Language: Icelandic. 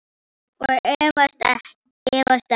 Og efast enn.